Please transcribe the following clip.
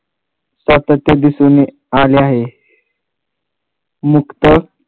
सातत्य दिसून आले आहे नुकतंच